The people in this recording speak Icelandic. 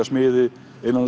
smiði